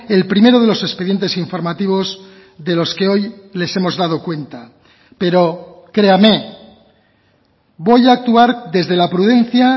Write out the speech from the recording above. el primero de los expedientes informativos de los que hoy les hemos dado cuenta pero créame voy a actuar desde la prudencia